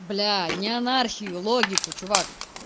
блять не анархию логику чувак